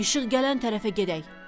Işıq gələn tərəfə gedək.